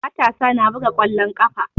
Matasa na buga ƙwallon ƙafa.